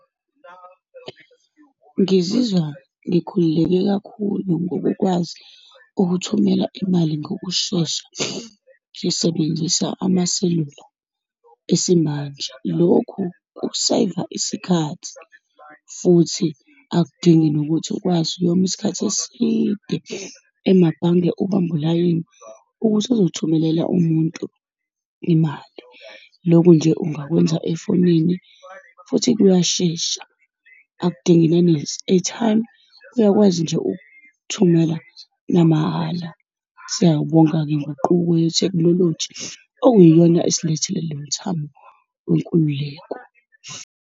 Ngizizwa ngikhululeke kakhulu ngokukwazi ukuthumela imali ngokushesha, ngisebenzisa amaselula esimanje. Lokhu kuseyiva isikhathi, futhi akudingi nokuthi ukwazi uyoma isikhathi eside emabhange ubambe ulayini, ukuthi uzothumelela umuntu imali. Loku nje ungakwenza efonini, futhi kuyashesha, akudingi nane-airtime, uyakwazi nje ukuthumela namahala. Siyawubonga-ke inguquko yethekhinoloji okuyiyona esilethele le mithamo wenkululeko.